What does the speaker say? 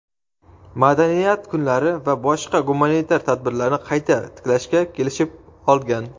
madaniyat kunlari va boshqa gumanitar tadbirlarni qayta tiklashga kelishib olgan.